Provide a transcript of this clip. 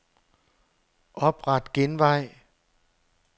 Opret genvej.